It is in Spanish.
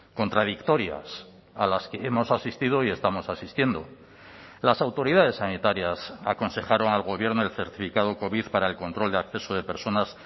contradictorias a las que hemos asistido y estamos asistiendo las autoridades sanitarias aconsejaron al gobierno el certificado covid para el control de acceso de personas